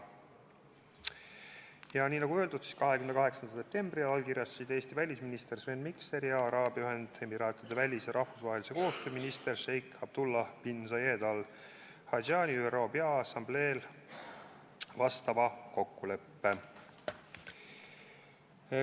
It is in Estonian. Ja nagu öeldud, 28. septembril allkirjastasid Eesti välisminister Sven Mikser ja Araabia Ühendemiraatide välis- ja rahvusvahelise koostöö minister šeik Abdullah bin Zayed Al Nahyan ÜRO Peaassambleel sellekohase kokkuleppe.